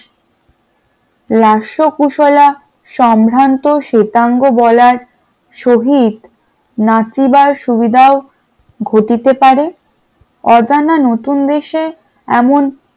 সম্ভ্রান্ত শ্বেতাঙ্গ বলার শহীদ নাচিবার সুবিধা ও ঘটিতে পারে অজানা নতুন দেশে এমন